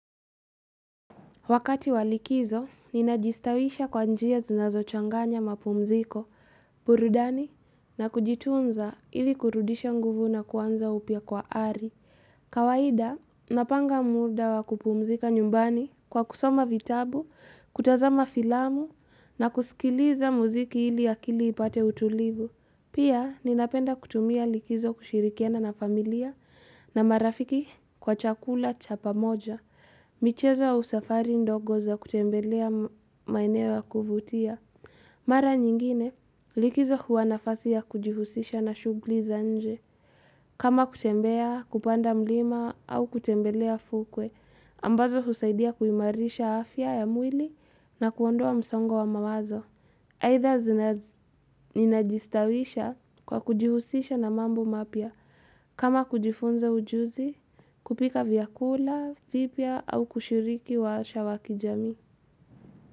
Wakati wa likizo, ninajistawisha kwa njia zinazo changanya mapumziko, burudani, na kujitunza ili kurudisha nguvu na kuanza upya kwa ari. Kawaida, napanga muda wa kupumzika nyumbani kwa kusoma vitabu, kutazama filamu, na kusikiliza muziki ili akili ipate utulivu. Pia, ninapenda kutumia likizo kushirikiana na familia na marafiki kwa chakula cha pamoja. Michezo au usafari ndogo za kutembelea maeneo wa kuvutia. Mara nyingine likizo huwa nafasi ya kujihusisha na shughli za nje. Kama kutembea kupanda mlima au kutembelea fukwe, ambazo husaidia kuimarisha afya ya mwili na kuondoa msongo wa mawazo. Aidha ninajistawisha kwa kujihusisha na mambo mapya kama kujifunza ujuzi, kupika vyakula, vipya au kushiriki warsha wa kijamii.